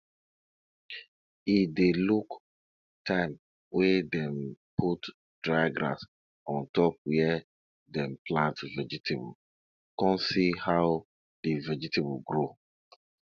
e dey look time wey dem put dry grass on top where dem plant vegetable con see how di vegetable grow